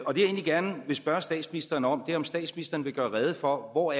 egentlig gerne vil spørge statsministeren om er om statsministeren vil gøre rede for hvor